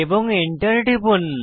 এবং এন্টার টিপুন